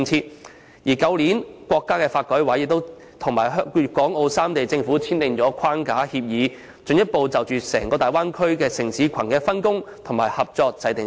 中華人民共和國國家發展和改革委員會亦於去年與粵港澳三地政府簽訂一項框架協議，進一步就整個大灣區城市群的分工及合作制訂機制。